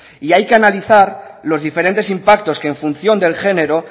y hay que analizar los diferentes impactos que en función del género